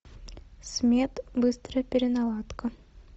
смед быстрая переналадка